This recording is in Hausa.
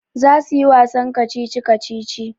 Za su yi wasan kacici-kacici.